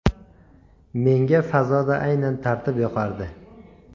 Menga fazoda aynan tartib yoqardi.